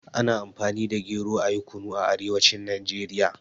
Ana Amfani da gero ayi Kunu a arewacin Najeriya.